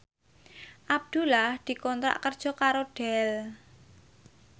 Abdullah dikontrak kerja karo Dell